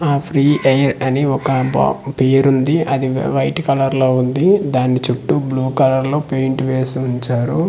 ఆ free air అని ఒక బాక్ పేరుంది అది వైట్ కలర్ లో ఉంది దాని చుట్టూ బ్లూ కలర్ లో పెయింట్ వేసి ఉంచారు.